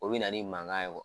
O bɛ na ni mankan ye wa.